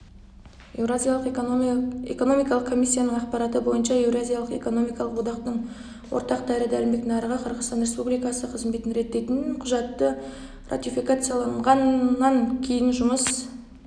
еуразиялық экономикалық комиссияның ақпараты бойынша еуразиялық экономикалық одақтың ортақ дәрі-дәрмек нарығы қырғызстан республикасы қызметін реттейтін құжатты ратификацияланғаннан кейін жұмыс